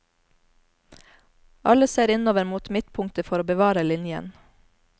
Alle ser innover mot midtpunktet for å bevare linjen.